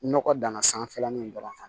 Nɔgɔ dan na sanfɛlanin dɔrɔn